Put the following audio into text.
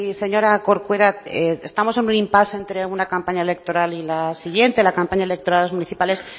señora corcuera estamos en un impás entre una campaña electoral y la siguiente la campaña electoral a las municipales